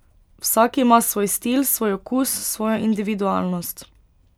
Vsak ima svoj stil, svoj okus, svojo individualnost.